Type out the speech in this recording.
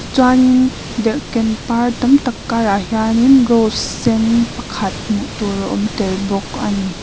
chuanin derhken par tam tak karah hianin rose sen pakhat hmuh tur a awm tel bawk a ni.